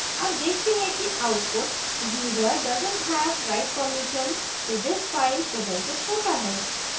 हम देखते हैं कि output user doesnt have write permission to this file प्रदर्शित होता है